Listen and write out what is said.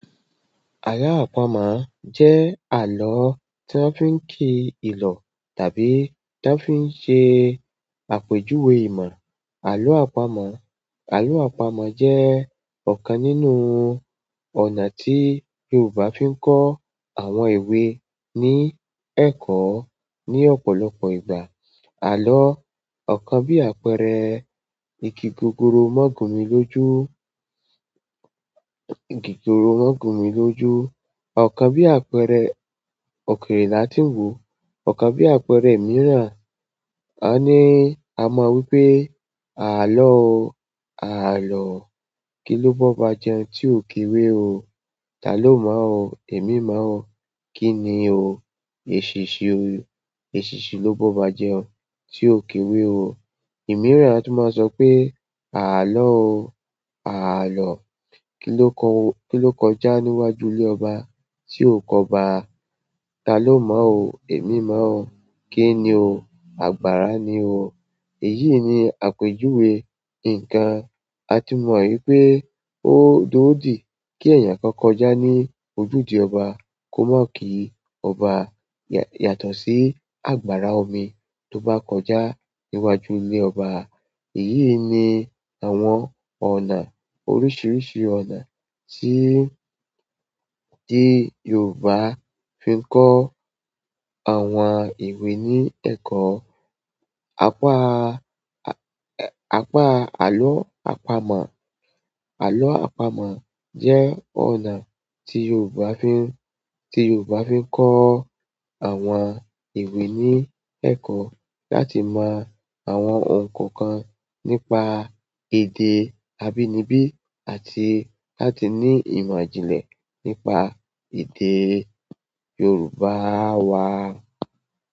Àlọ́ àpamọ̀ jẹ́ àlọ́ tí won fi ń kí ìlọ̀ tàbí tí won fi ń ṣe àpèjúwe ìmọ̀. Àlọ́ àpamọ̀, àlọ́ àpamọ̀ jẹ́ ọ̀kan nínú ọ̀nà tí Yorùbá fi ń kọ́ àwọn ìwé ní ẹ̀kọ́ ní ọ̀pọ̀lọpọ̀ ìgbà. Àlọ́, ọ̀kan bí àpẹẹrẹ "Igi gogoro má gùn mí lójú, igi gogoro má gùn mí lójú." Ọ̀kan bí àpẹẹrẹ "Òkèèrè la tí ń wò." Ọ̀kan bí àpẹẹrẹ mìíràn, a ní a máa wí pé "Àlọ́ o, àlọ́, kí lóbá ọba jẹun tí o kewé o? Ta ló mọ̀ o? Èmi mọ̀ o. Kí ni o? Èṣìnṣín ni. Èṣìnṣín lóbá ọba jẹun tí o kewé o." Ìmìíràn tún máa sọ pé "Àlọ́ o, àlọ́, kí ló kọjá níwájú ilé ọba tí o ki ọbá? Ta ló mọ̀ o? Èmi mọ̀ o. Kí ni o? Àgbàrá ni o." Èyí ni àpèjúwe nǹkan. A ti mọ̀ wípé ó doodí kí èèyàn kan kọjá ní ojúde ọba kó má ki ọba yàtọ̀ sí àgbàrá omi tó bá kọjá níwájú ilé ọba. Èyí ni àwọn ọ̀nà oríṣiríṣi ọ̀nà tí, tí Yorùbá fi ń kọ́ àwọn ìwé ní ẹ̀kọ́. Apá, apá àlọ́ àpamọ̀, àlọ́ àpamọ̀ jẹ́ ọ̀nà tí Yorùbá fi ń, tí Yorùbá fi ń kọ́ àwọn ewé ní ẹ̀kọ́ láti mọ àwọn oun kọ̀ọ̀kan nípa èdè abínibí àti láti ní ìmọ̀ ìjìnlẹ̀ nípa èdè Yorùbá wá.